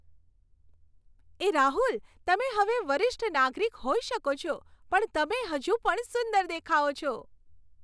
એ રાહુલ, તમે હવે વરિષ્ઠ નાગરિક હોઈ શકો છો, પણ તમે હજુ પણ સુંદર દેખાઓ છો.